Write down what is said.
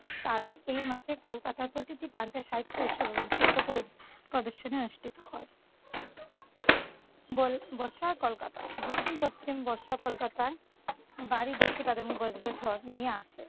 কারণ এই মাসে কলকাতার প্রতিটি প্রান্তে সাহিত্য উৎসব এবং শিল্প প্রদ প্রদর্শনী অনুষ্ঠিত হয়। বর বর্ষায় কলকাতা। দক্ষিণ-পশ্চিম বর্ষা কলকাতায় ভারী বৃষ্টিপাত এবং বজ্রঝড় নিয়ে আসে।